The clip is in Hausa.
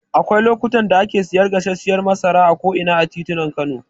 Akwai lokutan da ake siyar da gasarshiyar masara a ko'ina a titunan Kano.